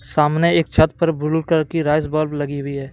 सामने एक छत पर ब्लू कलर की राइस बल्ब लगी हुई है।